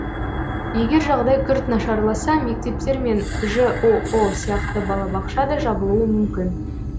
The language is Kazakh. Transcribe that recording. егер жағдай күрт нашарласа мектептер мен жоо сияқты балабақша да жабылуы мүмкін